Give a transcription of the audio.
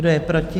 Kdo je proti?